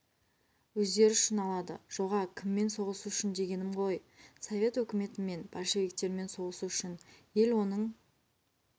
өздері үшін алады жоға кіммен соғысу үшін дегенім ғой совет өкіметімен большевиктермен соғысу үшін ел оның